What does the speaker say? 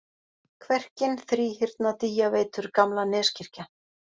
Kverkin, Þríhyrna, Dýjaveitur, Gamla-Neskirkja